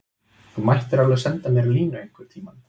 Þú mættir alveg senda mér línu einhverntíma.